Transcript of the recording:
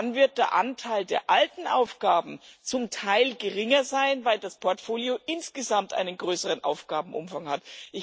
Dann wird der Anteil der alten Aufgaben zum Teil geringer sein, weil das Portfolio insgesamt einen größeren Aufgabenumfang hat.